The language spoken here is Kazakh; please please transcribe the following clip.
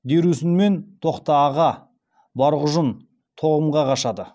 дерусүнмен тоқтааға барғұжын тоғымға қашады